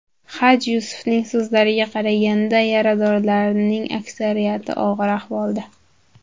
Haj Yusufning so‘zlariga qaraganda, yaradorlarning aksariyati og‘ir ahvolda.